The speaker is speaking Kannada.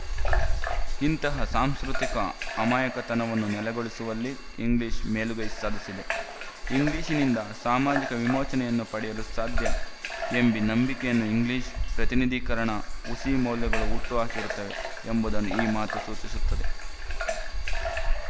ಇಂತಹ ಸಾಂಸ್ಕೃತಿಕ ಅಮಾಯಕತನವನ್ನು ನೆಲೆಗೊಳಿಸುವಲ್ಲಿ ಇಂಗ್ಲಿಶು ಮೇಲುಗೈ ಸಾಧಿಸಿದೆ ಇಂಗ್ಲಿಶಿನಿಂದ ಸಾಮಾಜಿಕ ವಿಮೋಚನೆಯನ್ನು ಪಡೆಯಲು ಸಾಧ್ಯ ಎಂಬೀ ನಂಬಿಕೆಯನ್ನು ಇಂಗ್ಲಿಶು ಪ್ರತಿನಿಧೀಕರಣದ ಹುಸಿ ಮೌಲ್ಯಗಳು ಹುಟ್ಟು ಹಾಕಿರುತ್ತವೆ ಎಂಬುದನ್ನು ಈ ಮಾತು ಸೂಚಿಸುತ್ತದೆ